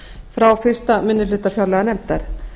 frá fyrstu minni hluta fjárlaganefndar